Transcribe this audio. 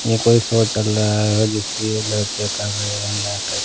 ये कोई शो चल रहा है जिसकी ये लड़कियाँ कर रही हैं नाटक।